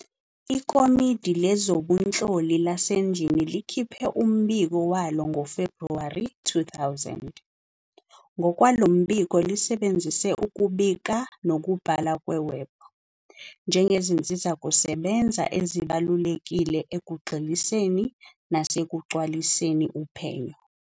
IKomidi Lezobunhloli laseNdlini likhiphe umbiko walo ngoFebhuwari 2000. Ngokwalo mbiko, lisebenzise ukubika nokubhala kweWebb "njengezinsizakusebenza ezibalulekile ekugxiliseni nasekucwaliseni uphenyo."